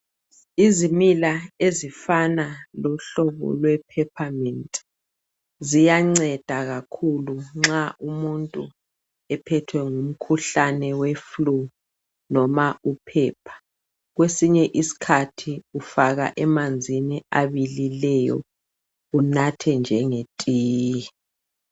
Izimila ezifana lomhlobo lwe pappermint ziyanceda kakhulu nxa umuntu ephethwe ngumkhuhlane weflue noma uphepha kwesinye isikhathi ufaka emanzini abilileyo unathe njengetiye